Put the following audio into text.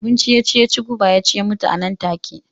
Abinci ya ci guba ya ci ya mutu a nan take.